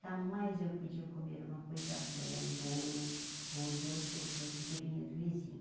Jamais eu podia comer uma coisa boa ou bolo ou doce ou fruto que vinha do vizinho.